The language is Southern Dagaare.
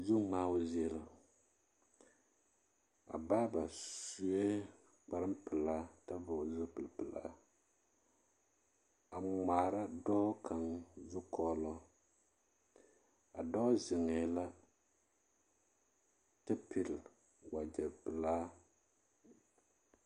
Zuŋmaao zie la a baaba sue kparpelaa a vɔɡele zupilipelaa a ŋmaara dɔɔ kaŋ zukɔɔloŋ a dɔɔ zeŋɛɛ la kyɛ pili waɡyɛ pelaa.